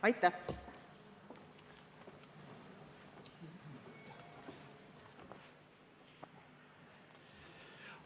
Aitäh!